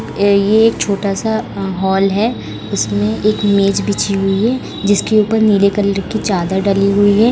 अ ये एक छोटा सा हॉल है। जिसमे एक मेज बिछी हुई है। जिसके ऊपर नीले कलर की चादर डली हुई है।